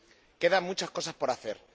Quedan muchas cosas por hacer.